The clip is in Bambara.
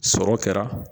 Sɔrɔ kɛra